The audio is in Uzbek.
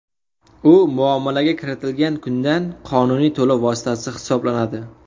U muomalaga kiritilgan kundan qonuniy to‘lov vositasi hisoblanadi.